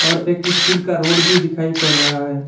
और एक स्टील का रॉड भी दिखाई पड़ रहा है।